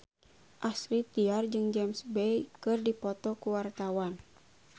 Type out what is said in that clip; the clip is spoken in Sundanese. Astrid Tiar jeung James Bay keur dipoto ku wartawan